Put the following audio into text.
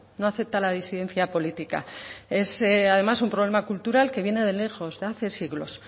no acepta la disidencia política es además un problema cultural que viene de lejos de hace siglos